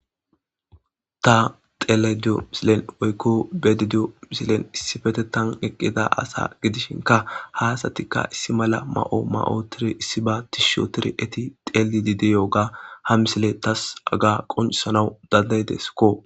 ta xelediyo misilen oykko bedediyo misilen issifete tan eqqida asa gidishinka haasatikka issi mala ma7o ma7o tiri issi ba tisho tir eti xeli dideyooga ha misile tas aga qoncisanawu dandaydeskko